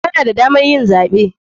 Kana da damar yin zaɓe.